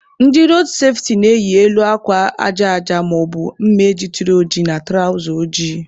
Ndị road safeti na-eyi elu akwa aja aja maọbụ mme jituru oji na tụrawza ojii.